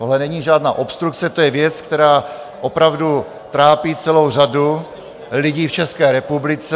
Tohle není žádná obstrukce, to je věc, která opravdu trápí celou řadu lidí v České republice.